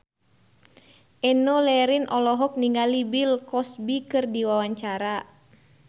Enno Lerian olohok ningali Bill Cosby keur diwawancara